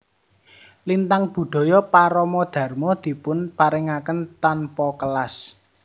Lintang Budaya Parama Dharma dipun paringaken tanpa kelas